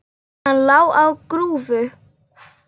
Hann lá á grúfu.